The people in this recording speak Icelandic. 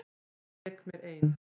Ég lék mér ein.